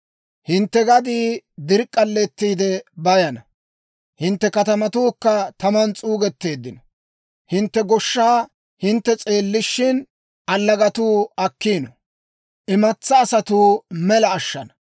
«Hintte gaddii dirk'k'aletiide bayana; hintte katamatuukka taman s'uugetteeddino; hintte goshshaa hintte s'eellishin, allagatuu akkiino; imatsaa asatuu, mela ashana.